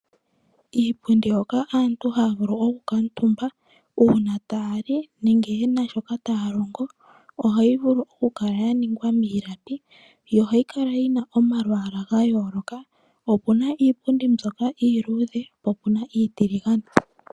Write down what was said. Iipundi hoka aantu haya vulu oku kaantumba uuna taya li nenge ye na shoka taya longo, ohayi vulu oku kala ya ningwa miilapi yo ohayi kala yina omalwaala ga yooloka, opuna iipundi mbyoka iiluudhe po puna iitiligane.